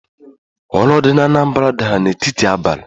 Ulo di na Anambra dara n'etiti abali